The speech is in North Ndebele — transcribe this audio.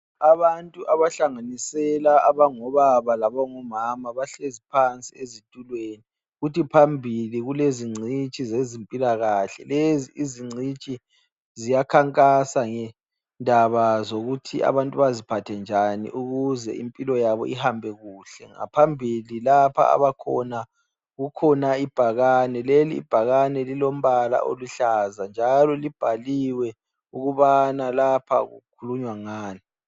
Abantu abahlanganisela abangobaba labangomama bahlezi phansi ezitulweni. Kuthi phambili kulezingcitshi zezimpilakahle. Lezi izingcitshi, ziyakhankasa ngendaba zokuthi abantu baziphathenjani ukuze impilo yabo ihambekuhle. Ngaphambili lapha abakhona kukhona ibhakane, lelibhakane lilombala oluhlaza, njalo libhaliwe ukubana lapha kukhulunywa ngani.